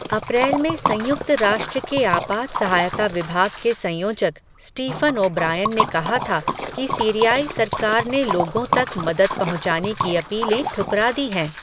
अप्रैल में संयुक्त राष्ट्र के आपात सहायता विभाग के संयोजक, स्टीफ़न ओ ब्रायन ने कहा था, कि सीरियाई सरकार ने लोगों तक मदद पहुंचाने की अपीलें ठुकरा दी हैं.